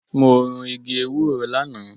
Mo run igi ewúro lánàá.